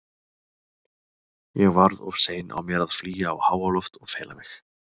Ég varð of sein á mér að flýja á háaloft og fela mig.